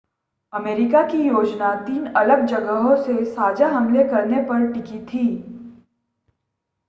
America की योजना तीन अलग जगहों से साझा हमले करने पर टिकी थी